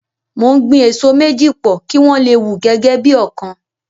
Mo ń gbin èso méjì pò, kí wọ́n le wù gẹ́gẹ́ bí ọ̀kan.